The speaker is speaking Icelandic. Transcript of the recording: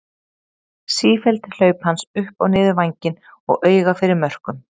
Sífelld hlaup hans upp og niður vænginn og auga fyrir mörkum.